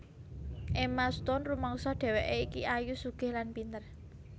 Emma Stone rumangsa dhewekke iki ayu sugih lan pinter